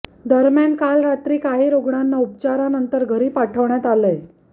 दरम्यान काल रात्री काही रूग्णांना उपचारानंतर घरी पाठवण्यात आलंय